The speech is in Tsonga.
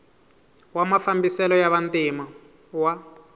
wa mafambiselo ya vantima wa